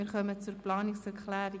Wir kommen zur Planungserklärung